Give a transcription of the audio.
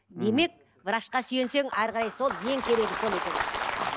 демек врачқа сүйенсең әрі қарай сол ең керегі сол екен